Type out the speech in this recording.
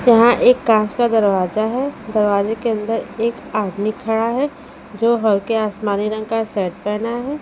यहां एक कांच का दरवाजा है दरवाजे के अंदर एक आदमी खड़ा है जो हल्के आसमानी रंग का शर्ट पहना है।